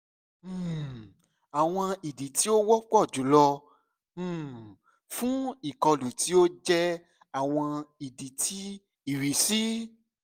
um awọn idi ti o wọpọ julọ um fun ikolu ti o jẹ awọn idi ti irisi